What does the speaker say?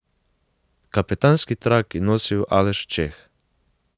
Kapetanski trak je nosil Aleš Čeh.